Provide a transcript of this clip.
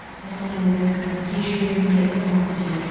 қостанай облысының кей жерлеріне тұман түседі